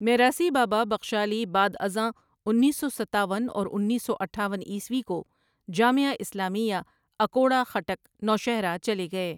میراثی بابا بخشالی بعدازاں انیس سو ستاون اور انیس سو اٹھاون عیسوی کوجامعہ اسلامیہ اکوڑہ خٹک نوشہرہ چلے گئے ۔